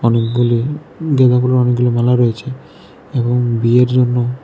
ফুলগুলি অনেকগুলি মালা রয়েছে এবং বিয়ের জন্য--